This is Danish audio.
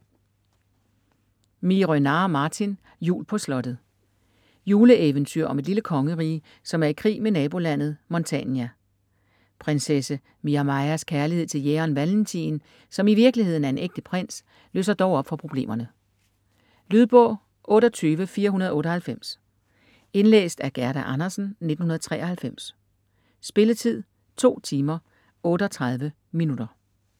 Miehe-Renard, Martin: Jul på slottet Juleeventyr om et lille kongerige, som er i krig med nabolandet Montania. Prinsesse Miamajas kærlighed til jægeren Valentin, som i virkeligheden er en ægte prins, løser dog op for problemerne. Lydbog 28498 Indlæst af Gerda Andersen, 1993. Spilletid: 2 timer, 38 minutter.